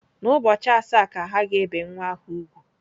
N'ubọchi asa ka ha gēbì nwa ahu úgwù.